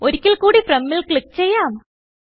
ഒരിക്കൽ കൂടി Fromൽ ക്ലിക്ക് ചെയ്യാം